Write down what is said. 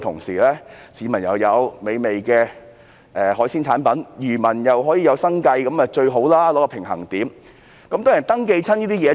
市民能享用美味的海鮮產品，漁民又可維持生計，取得平衡點，那是最理想。